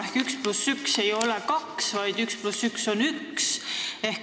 Ehk 1 + 1 ei ole 2, vaid 1 + 1 on 1.